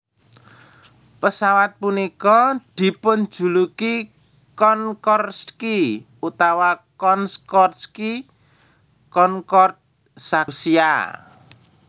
Pesawat punika dipunjuluki Konkordski utawi Concordski Concorde saking Rusia